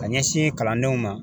Ka ɲɛsin kalandenw ma